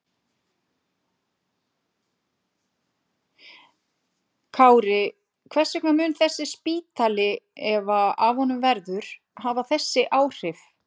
Kári, hvers vegna mun þessi spítali, ef af honum verður, hafa þessi áhrif?